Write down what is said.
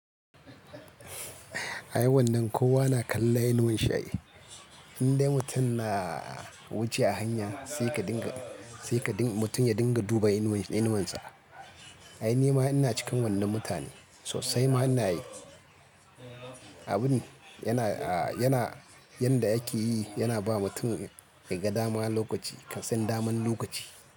I wannan kowa na kallon inuwan shi. Indai mutum na wuce a hanya sai ka dinga, sai ka dinga mutum ya dinga duba inuwan, inuwansa. Ai nima ina cikin wannan mutane sosai ma ina yi. Abun yana, a yana yanda yake yi yana ba mutum ya ga dama lokaci kan san daman lokaci.